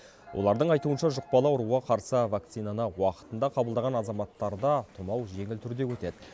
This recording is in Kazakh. олардың айтуынша жұқпалы ауруға қарсы вакцинаны уақытында қабылдаған азаматтарда тұмау жеңіл түрде өтеді